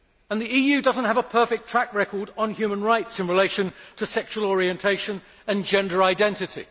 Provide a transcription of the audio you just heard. The EU does not have a perfect track record on human rights in relation to sexual orientation and gender identity.